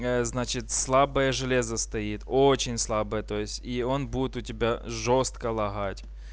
я значит слабое железо стоит очень слабое то есть и он будет у тебя жёстко лагать